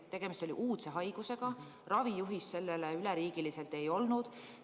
Tegemist oli uudse haigusega, üleriigilist ravijuhist selle kohta ei olnud.